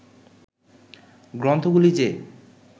গ্রন্থগুলি যে